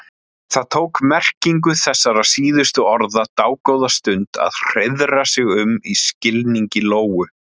Það tók merkingu þessara síðustu orða dágóða stund að hreiðra um sig í skilningi Lóu.